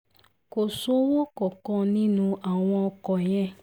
kò sówó kankan nínú àwọn ọkọ̀ yẹn